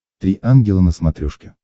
три ангела на смотрешке